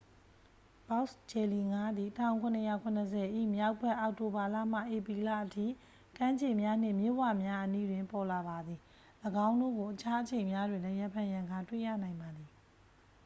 ဘောက်စ်ဂျယ်လီငါးသည် 1770 ၏မြောက်ဘက် အောက်တိုဘာလမှ ဧပြီလအထိ ကမ်းခြေများနှင့် မြစ်ဝများအနီးတွင် ပေါ်လာပါသည် ၎င်းတို့ကို အခြားအချိန်များတွင်လည်း ရံဖန်ရံခါတွေ့ရနိုင်ပါသည်